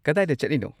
ꯀꯗꯥꯏꯗ ꯆꯠꯂꯤꯅꯣ?